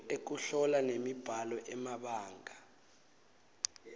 ekuhlola nemibhalo emabanga